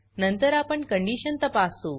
नंतर आपण कंडीशन तपासू